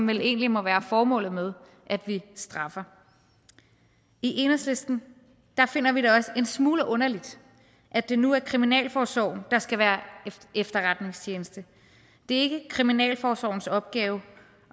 vel egentlig må være formålet med at vi straffer i enhedslisten finder vi det også en smule underligt at det nu er kriminalforsorgen der skal være efterretningstjeneste det er ikke kriminalforsorgens opgave